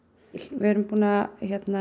við erum búin að